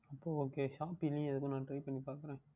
அப்பொழுது Ok Shopee லேயே நான் எதற்கோ Try பண்ணி பார்க்கின்றேன்